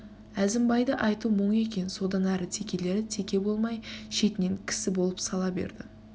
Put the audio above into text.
әзімбайды айтуы мұң екен содан әрі текелері теке болмай шетінен кісі болып сала берді